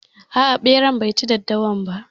A'a, beran bai ci daddawa ba.